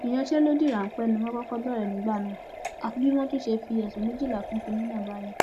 ìyanṣẹlódì ráńpẹ ni wọn kọkọ bẹrẹ nígbà náà àfi bí wọn tún ṣe fi ọsẹ méjìlá kún kinní náà báyìí